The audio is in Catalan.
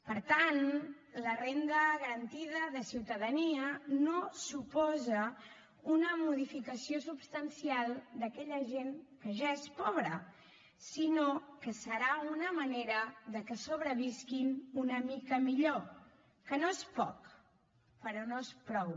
per tant la renda garantida de ciutadania no suposa una modificació substancial per a aquella gent que ja és pobra sinó que serà una manera de que sobrevisquin una mica millor que no és poc però no és prou